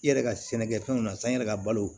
I yɛrɛ ka sɛnɛkɛfɛnw na san i yɛrɛ ka balo